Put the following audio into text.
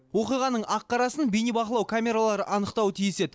оқиғаның ақ қарасын бейнебақылау камералары анықтауы тиіс еді